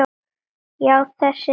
Já, þessi rödd.